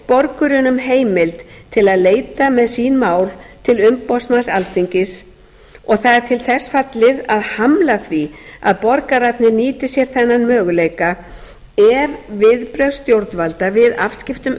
borgurunum heimild til að leita með sín mál til umboðsmanns alþingis og það er til þess fallið að hamla því að borgararnir nýti sér þennan möguleika ef viðbrögð stjórnvalda við afskiptum